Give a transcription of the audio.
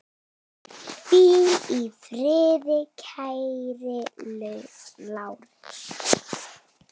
Hvíl í friði kæri Lárus.